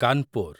Kanpur